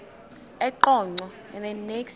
eqonco